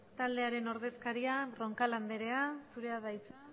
taldearen ordezkaria roncal andrea zurea da hitza